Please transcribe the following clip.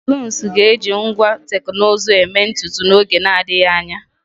saloons ga-eji ngwa teknụzụ eme ntutu n'oge na-adịghị anya